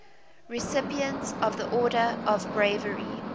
recipients of the order of bravery